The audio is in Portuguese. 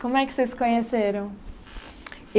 Como é que vocês se conheceram?